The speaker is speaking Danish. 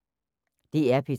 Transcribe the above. DR P3